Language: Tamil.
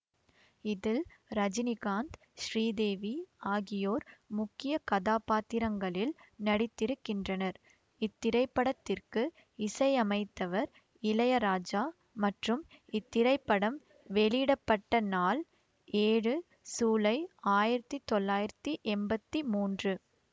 இதில் ரஜினிகாந்த் ஸ்ரீதேவி ஆகியோர் முக்கிய கதாபாத்திரங்களில் நடித்திருக்கின்றனர் இத்திரைப்படத்திற்கு இசையமைத்தவர் இளையராஜா மற்றும் இத்திரைப்படம் வெளியிட பட்ட நாள் ஏழு சூலை ஆயிரத்தி தொள்ளாயிரத்தி எம்பத்தி மூன்று